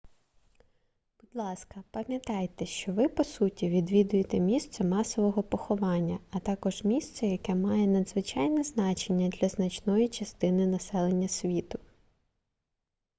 будь ласка пам'ятайте що ви по суті відвідуєте місце масового поховання а також місце яке має надзвичайне значення для значної частини населення світу